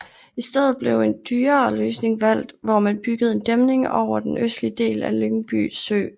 I stedet blev en dyrere løsning valgt hvor man byggede en dæmning over den østligste del af Lyngby Sø